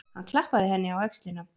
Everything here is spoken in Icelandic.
Hann klappaði henni á öxlina.